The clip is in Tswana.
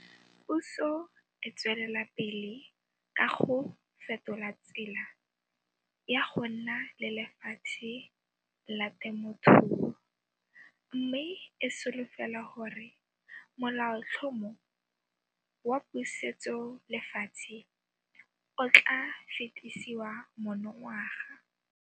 Puso e tswelela pele ka go fetola tsela ya go nna le lefatshe la temothuo mme e solofela gore Molaotlhomo wa Pusetsolefatshe o tla fetisiwa monongwaga.